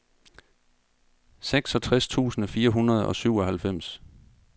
seksogtres tusind fire hundrede og syvoghalvfems